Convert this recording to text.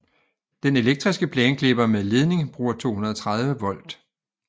Den elektriske plæneklipper med ledning bruger 230 volt